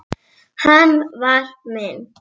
Hann var minn.